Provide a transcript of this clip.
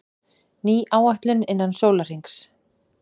Ný áætlun innan sólarhrings